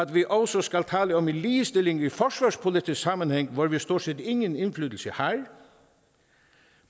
vi også skal tale om en ligestilling i forsvarspolitisk sammenhæng hvor vi stort set ingen indflydelse har